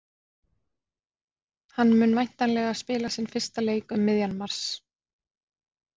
Hann mun væntanlega spila sinn fyrsta leik um miðjan mars.